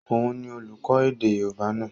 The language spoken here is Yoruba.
Òun ni olùkọ́ èdè yóòbá náà